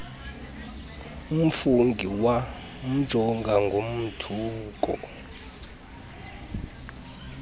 ufungie wamjonga ngomothuko